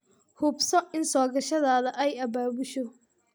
Hubso in soo gashadaadu ay abaabusho.